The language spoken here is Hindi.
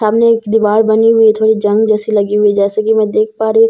सामने एक दिवार बनी हुई हैं जो एक जंग जैसी लगी हुई हैं जैसे की मैं देख पा रही हूँ --